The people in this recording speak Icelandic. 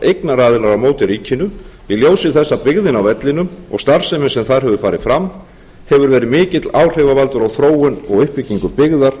eignaraðilar á móti ríkinu í ljósi þess að byggðin á vellinum og starfsemi sem þar hefur farið fram hefur verið mikill áhrifavaldur á þróun og og uppbyggingu byggðar